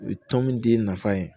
U ye tɔn min d'e nafa ye